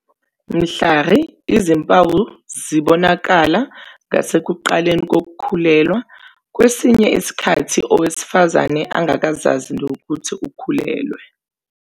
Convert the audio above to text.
Mhlari, izimpawu zibonakala ngasekuqaleni kokukhulelwa, kwesinye isikhathi owesifazane engakazazi nokuthi ukhulelwe.